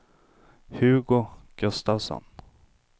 Hugo Gustavsson